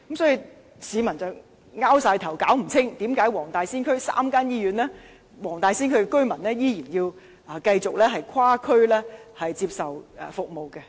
所以，市民摸不着頭腦，為何黃大仙區有3間醫院，但黃大仙區居民依然要跨區接受醫療服務。